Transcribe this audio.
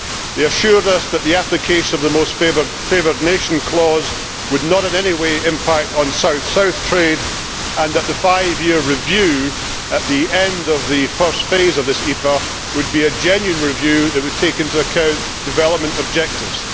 They assured us that the application of the most favoured nation clause would not in any way impact on South South trade and that the five year review at the end of the first phase of this EPA would be a genuine review that would take into account development objectives.